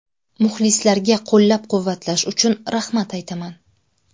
Muxlislarga qo‘llab-quvvatlash uchun rahmat aytaman.